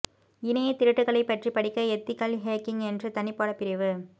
இணைய திருட்டுகளை பற்றி படிக்க எத்திக்கல் ஹேக்கிங் என்ற தனி பாட பிரிவு